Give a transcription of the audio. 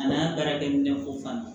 A n'a baarakɛminɛn ko fana